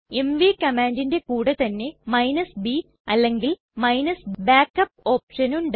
MV കമ്മാണ്ടിന്റെ കൂടെ തന്നെ b അല്ലെങ്കിൽ backup ഓപ്ഷൻ ഉണ്ട്